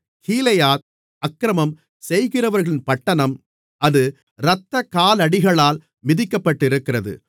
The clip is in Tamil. கீலேயாத் அக்கிரமம் செய்கிறவர்களின் பட்டணம் அது இரத்தக்காலடிகளால் மிதிக்கப்பட்டிருக்கிறது